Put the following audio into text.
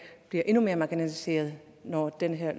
bliver endnu mere marginaliserede når det her